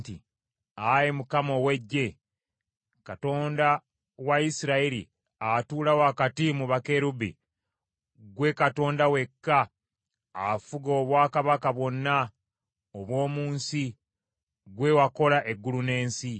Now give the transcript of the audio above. “Ayi Mukama ow’Eggye, Katonda wa Isirayiri, atuula wakati mu bakerubbi, ggwe Katonda wekka afuga obwakabaka bwonna obw’omu nsi, ggwe wakola eggulu n’ensi.